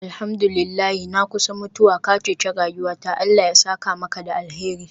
Alhamdu lillahi, na kusa mutuwa, ka ceci rayuwata Allah ya saka maka da alheri.